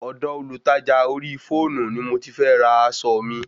Ọ̀dọ Olùtajà orí fọ́ọ̀nù ni mo ti fẹ ra aṣọ mi